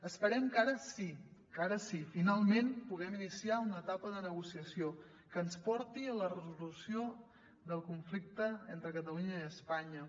esperem que ara sí que ara sí finalment puguem iniciar una etapa de negociació que ens porti a la resolució del conflicte entre catalunya i espanya